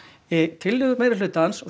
tillögur meirihlutans og